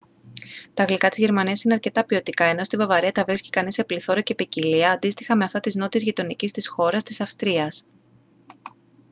τα γλυκά της γερμανίας είναι αρκετά ποιοτικά ενώ στη βαυαρία τα βρίσκει κανείς σε πληθώρα και ποικιλία αντίστοιχα με αυτά της νότιας γειτονικής της χώρας της αυστρίας